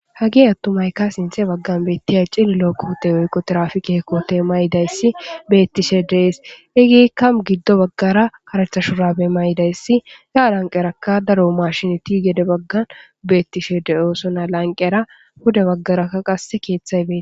hage attumayka sinxe baggan beettiya cilliloo kohute weykko qa tirafikee kote maydayssi bettishe dees igiikka giddo baggara karatha shurabe maydayssi gaa lanqerakka daro mashinoti gede baggan beettishe deyoosona lanqera puda baggaraka qasse keeththay bei